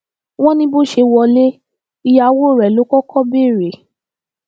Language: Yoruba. wọn ní bó ṣe wọlé ìyàwó rẹ ló kọkọ béèrè